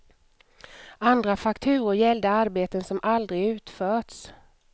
Andra fakturor gällde arbeten som aldrig utförts.